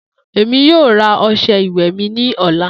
Emi yoo ra ọṣẹ iwẹ mi ni ọla.